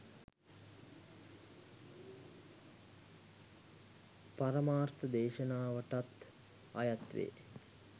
පරමාර්ථ දේශනාවටත් අයත් වේ.